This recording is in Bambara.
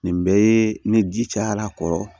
Nin bɛɛ ye ni ji cayara a kɔrɔ